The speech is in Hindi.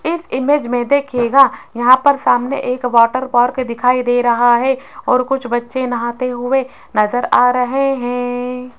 इस इमेज में दिखेगा यहां पर सामने एक वाटर पार्क के दिखाई दे रहा है और कुछ बच्चे नहाते हुए नजर आ रहे हैं।